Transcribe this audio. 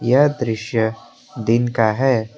यह दृश्य दिन का है।